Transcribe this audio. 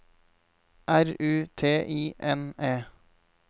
R U T I N E